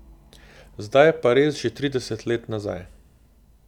Zdaj je pa res že trideset let nazaj.